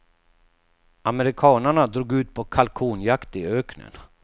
Amerikanarna drog ut på kalkonjakt i öknen.